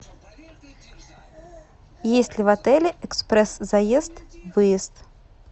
есть ли в отеле экспресс заезд выезд